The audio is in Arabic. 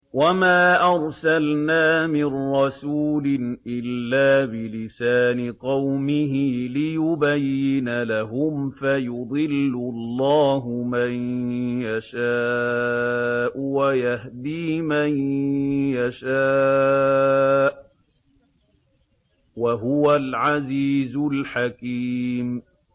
وَمَا أَرْسَلْنَا مِن رَّسُولٍ إِلَّا بِلِسَانِ قَوْمِهِ لِيُبَيِّنَ لَهُمْ ۖ فَيُضِلُّ اللَّهُ مَن يَشَاءُ وَيَهْدِي مَن يَشَاءُ ۚ وَهُوَ الْعَزِيزُ الْحَكِيمُ